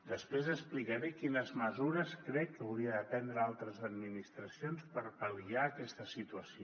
després explicaré quines mesures crec que haurien de prendre altres administracions per pal·liar aquesta situació